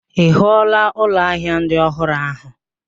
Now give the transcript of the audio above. Ị hụụla ụlọ ahịa ndị ọhụrụ ahụ?